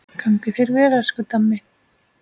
Gangi þér vel, elsku Dammi.